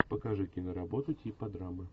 покажи киноработу типа драмы